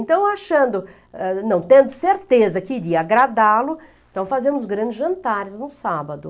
Então, achando, ãh, não, tendo certeza que iria agradá-lo, então fazíamos grandes jantares no sábado.